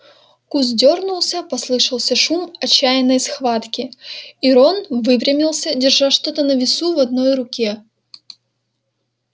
куст дёрнулся послышался шум отчаянной схватки и рон выпрямился держа что-то на весу в одной руке